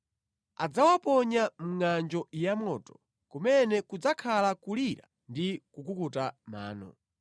Adzawaponya mʼngʼanjo yamoto kumene kudzakhala kulira ndi kukuta mano.